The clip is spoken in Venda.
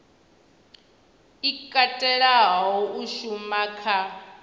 i katelaho u shuma kha